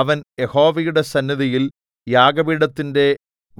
അവൻ യഹോവയുടെ സന്നിധിയിൽ യാഗപീഠത്തിന്റെ